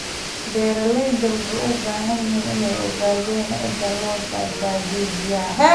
Beeralayda waxay u baahan yihiin inay ogaadaan sida loo badbaadiyo biyaha.